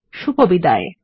শুভবিদায়